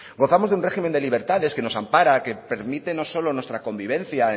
gozamos de un régimen de libertades que nos ampara que permite no solo nuestra convivencia